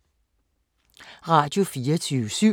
Radio24syv